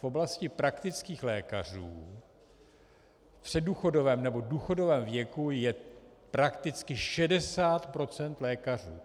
V oblasti praktických lékařů v předdůchodovém nebo důchodovém věku je prakticky 60 % lékařů.